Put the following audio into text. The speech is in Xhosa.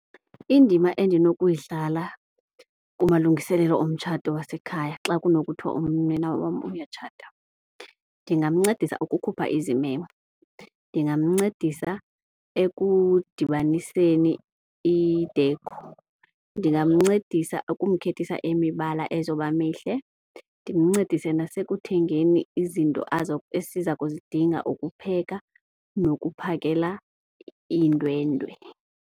Indima endinokuyidlala kumalungiselelo omtshato wasekhaya xa kunokuthiwa unyana wam uyatshata, ndingamncedisa ukukhupha izimemo, ndingamncedisa ekudibaniseni i-decor, ndingamncedisa ukumkhethisa imibala ezoba mihle, ndimncedise nasekuthengeni izinto esiza kuzidinga ukupheka nokuphakela iindwendwe.